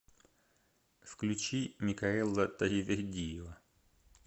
включи микаэла таривердиева